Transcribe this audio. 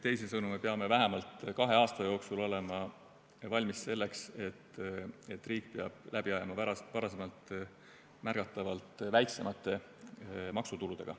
Teisisõnu, me peame vähemalt kahe aasta jooksul olema valmis selleks, et riik peab läbi ajama varasemast märgatavalt väiksemate maksutuludega.